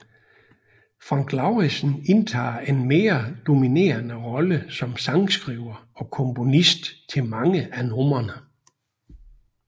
Frank Lauridsen indtager en mere dominerende rolle som sangskriver og komponist til mange af numrene